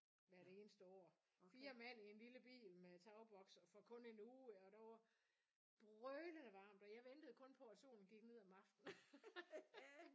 Hvert eneste år 4 mand i en lille bil med tagboks og for kun en uge og der var brølende varmt og jeg ventede kun på at solen gik ned om aftenen